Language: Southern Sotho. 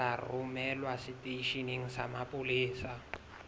tla romelwa seteisheneng sa mapolesa